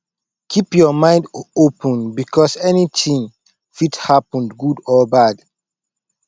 keep your mind open because anything fit happen good or bad